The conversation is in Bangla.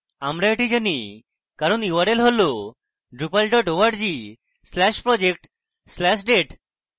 আমরা এটি জানি কারণ url হল drupal dot org slash project slash date